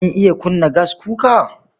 Kin iya kunna gaskuka?